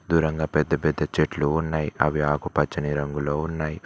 దూరంగా పెద్ద పెద్ద చెట్లు ఉన్నాయి అవి ఆకుపచ్చని రంగులో ఉన్నాయి.